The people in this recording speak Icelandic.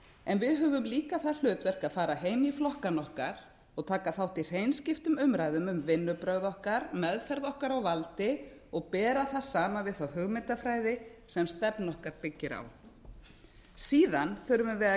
en við höfum líka það hlutverk að fara heim í flokkana okkar og taka þátt í hreinskiptnum umræðum um vinnubrögð okkar meðferð okkar á valdi og bera það saman við þá hugmyndafræði sem stefna okkar byggir á síðan þurfum við að